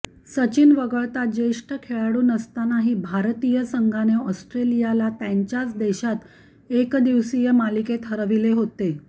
सचिन वगळता ज्येष्ठ खेळाडू नसतानाही भारतीय संघाने ऑस्ट्रेलियाला त्यांच्यात देशात एकदिवसीय मालिकेत हरविले होते